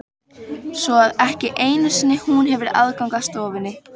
Svo að ekki einu sinni hún hefur aðgang að stofunni?